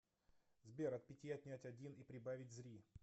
сбер от пяти отнять один и прибавить зри